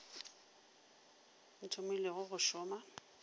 wo o thomilego go šoma